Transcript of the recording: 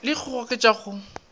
le go le goketša go